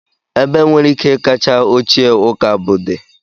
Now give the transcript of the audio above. ebe nwere ike kacha ochie ụka br dị